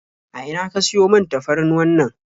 A ina ka siyo man tafarnuwannan?